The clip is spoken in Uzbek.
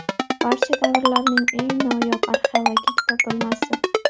Barcha davrlarning eng noyob arxeologik topilmasi.